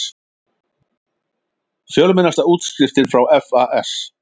Fjölmennasta útskriftin frá FAS